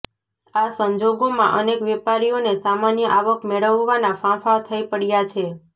આ સંજોગોમાં અનેક વેપારીઓને સામાન્ય આવક મેળવવાનાં ફાંફાં થઇ પડ્યાં છે